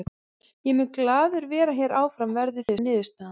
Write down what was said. Ég mun glaður vera hér áfram verði það niðurstaðan.